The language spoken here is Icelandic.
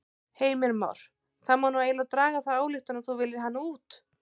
Heimir Már: Það má nú eiginlega draga þá ályktun að þú viljir hana út?